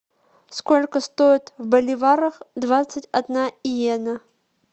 сколько стоит в боливарах двадцать одна йена